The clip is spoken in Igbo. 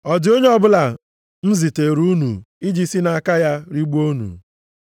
Ọ dị onye ọbụla m ziteere unu, iji si nʼaka ya rigbuo unu?